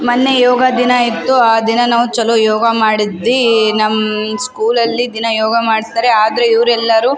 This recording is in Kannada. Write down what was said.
ಮೊನ್ನೆ ಯೋಗ ದಿನ ಇತ್ತು ಆಹ್ಹ್ ದಿನ ನಾವ್ ಚಲೋ ಯೋಗ ಮಾಡಿದ್ವಿ ನಮ್ಮ್ ಸ್ಕೂಲ್ ಅಲ್ಲಿ ದಿನ ಯೋಗ ಮಾಡ್ತಾರೆ ಆದ್ರೆ ಇವ್ರ್ ಎಲ್ಲರೂ --